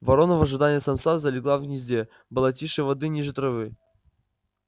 ворона в ожидании самца залегла в гнезде была тише воды ниже травы